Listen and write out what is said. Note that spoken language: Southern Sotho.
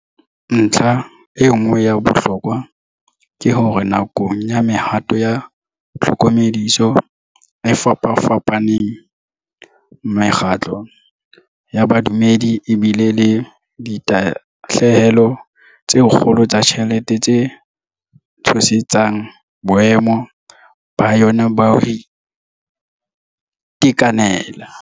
Ntlha e nngwe ya bohlokwa ke hore nakong ya mehato ya tlhokomediso e fapafapa neng, mekgatlo ya bodumedi e bile le ditahlehelo tse kgolo tsa ditjhelete tse tshosetsang boemo ba yona ba ho ite kanela.